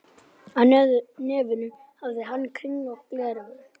Á nefinu hafði hann kringlótt gleraugu.